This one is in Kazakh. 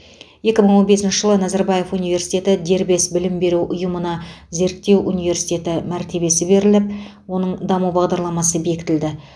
екі мың он бесінші жылы назарбаев университеті дербес білім беру ұйымына зерттеу университеті мәртебесі беріліп оның даму бағдарламасы бекітілді